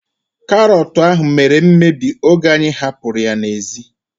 Karọt ahu mere mmebi oge anyị hapụrụ ya n'ezi